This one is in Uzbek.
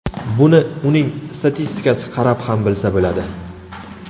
Buni uning statistikasi qarab ham bilsa bo‘ladi.